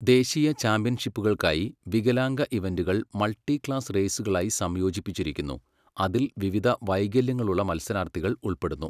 ദേശീയ ചാമ്പ്യൻഷിപ്പുകൾക്കായി, വികലാംഗ ഇവന്റുകൾ മൾട്ടി ക്ലാസ് റേസുകളായി സംയോജിപ്പിച്ചിരിക്കുന്നു, അതിൽ വിവിധ വൈകല്യങ്ങളുള്ള മത്സരാർത്ഥികൾ ഉൾപ്പെടുന്നു.